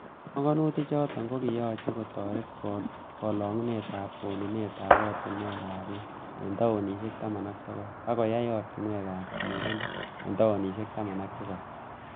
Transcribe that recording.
Panganutik choton ko kiyoche kotoret kolongunet ab konunet ab ortinwek ab beek en taonisiek taman ak sogol ak koyai oratinwek ab tililndo en toanisiek taman ak tisap.